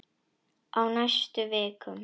Á næstu vikum.